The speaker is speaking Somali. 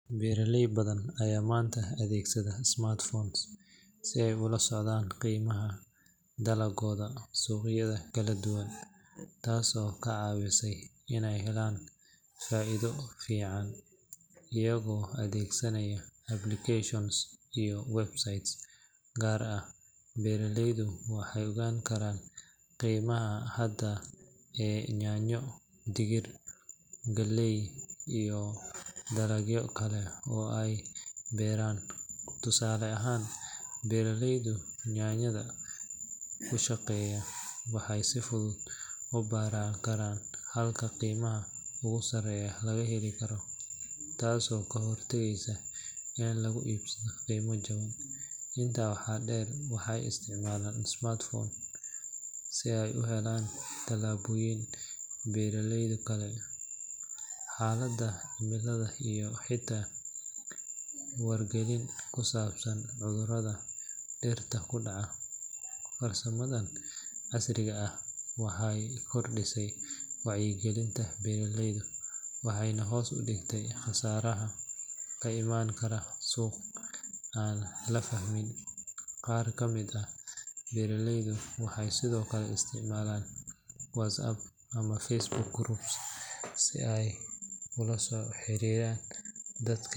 Beeraley badan ayaa maanta adeegsanaya smartphones si ay ula socdaan qiimaha dalaggooda suuqyada kala duwan, taasoo ka caawisa inay helaan faa’iido fiican. Iyagoo adeegsanaya applications iyo websites gaar ah, beeraleydu waxay ogaan karaan qiimaha hadda ee yaanyo, digir, galley, iyo dalagyo kale oo ay beeraan. Tusaale ahaan, beeraleyda yaanyada ku shaqeeya waxay si fudud u baran karaan halka qiimaha ugu sarreeya laga heli karo, taasoo ka hortagaysa in lagu iibsado qiimo jaban. Intaa waxaa dheer, waxay isticmaalaan smartphone si ay u helaan talooyin beeraleyda kale, xaaladda cimilada, iyo xitaa wargelin ku saabsan cudurrada dhirta ku dhaca. Farsamadan casriga ah waxay kordhisay wacyigelinta beeraleyda waxayna hoos u dhigtay khasaaraha ka iman kara suuq aan la fahmin. Qaar ka mid ah beeraleyda waxay sidoo kale isticmaalaan WhatsApp ama Facebook groups si ay ula xiriiraan dadka.